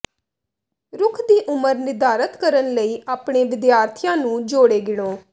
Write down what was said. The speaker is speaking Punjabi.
ਰੁੱਖ ਦੀ ਉਮਰ ਨਿਰਧਾਰਤ ਕਰਨ ਲਈ ਆਪਣੇ ਵਿਦਿਆਰਥੀਆਂ ਨੂੰ ਜੋੜੇ ਗਿਣੋ